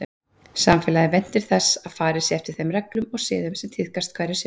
Samfélagið væntir þess að farið sé eftir þeim reglum og siðum sem tíðkast hverju sinni.